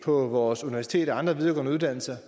på vores universiteter og andre videregående uddannelser